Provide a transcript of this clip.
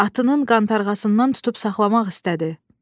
Atının qantarğasından tutub saxlamaq istədi.